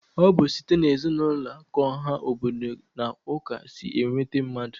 Ọ bụ site n'ezinụlọ k'ọha obodo na ụka si enweta mmadụ